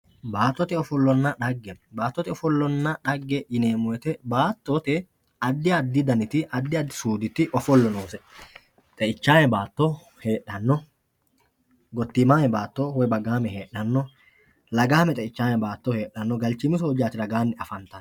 Baattote ofollonna dhagge, baattote ofollonna dhage addi addi daniti suuditi ofollo noose xeichame baatto heedhano, gottimame baatto lagichame galchimi soojjati ragani afantano.